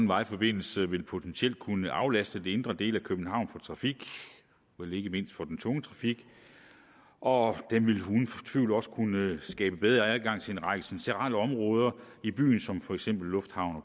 vejforbindelse vil potentielt kunne aflaste de indre dele af københavn for trafik vel ikke mindst for den tunge trafik og den ville uden tvivl også kunne skabe bedre adgang til en række centrale områder i byen som for eksempel lufthavn og